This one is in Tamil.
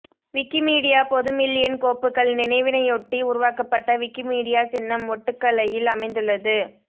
விக்கிமீடியா பொது மில்லியன் கோப்புக்கள் நினைவினையொட்டி உருவாக்கப்பட்ட விக்கிமீடியா சின்னம் ஒட்டுகலையில் அமைந்துள்ளது